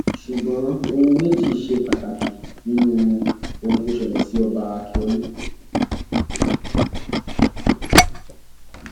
ṣùgbọn ohun méjì ṣe pàtàkì nínú ohun tó ṣẹlẹ sí ọba ákíọlù